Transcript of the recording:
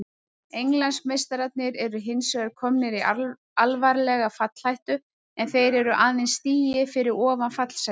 Englandsmeistararnir eru hinsvegar komnir í alvarlega fallhættu en þeir eru aðeins stigi fyrir ofan fallsætin.